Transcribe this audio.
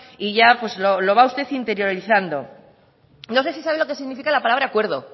y ya lo va usted interiorizando no sé si sabe lo que significa la palabra acuerdo